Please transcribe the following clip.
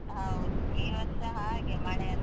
ಹೌದು ಈ ವರ್ಷ ಹಾಗೆ ಮಳೆ ಅಂದ್ರೆ.